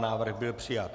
Návrh byl přijat.